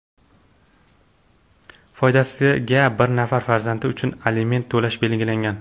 foydasiga bir nafar farzandi uchun aliment to‘lash belgilangan.